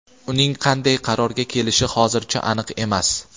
Uning qanday qarorga kelishi hozircha aniq emas.